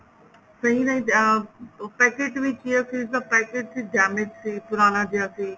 ਸਹੀ ਅਹ ਉਹ packet ਵਿੱਚ chia seeds ਦਾ packet ਵੀ damage ਸੀ ਪੁਰਾਣਾ ਜਿਆ ਸੀ